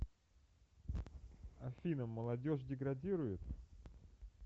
афина молодежь деградирует